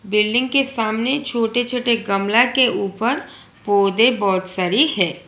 Building के सामने छोटे छोटे गमला के ऊपर पौधे बहोत सारी है।